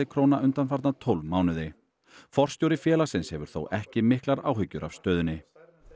króna undanfarna tólf mánuði forstjóri félagsins hefur þó ekki miklar áhyggjur af stöðunni